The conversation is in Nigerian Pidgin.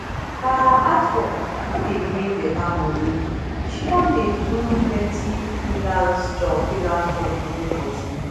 her art work no dey bring better money she come dey do plenty freelance job freelance job to hold body